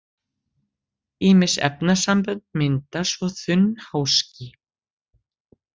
Ýmis efnasambönd mynda svo þunn háský.